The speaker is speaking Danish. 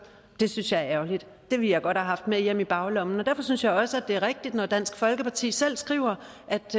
det synes jeg er ærgerligt det vil jeg godt have haft med hjem i baglommen derfor synes jeg også det er rigtigt når dansk folkeparti selv skriver